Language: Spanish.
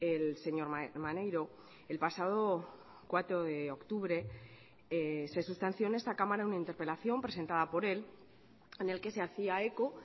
el señor maneiro el pasado cuatro de octubre se sustanció en esta cámara una interpelación presentada por él en el que se hacía eco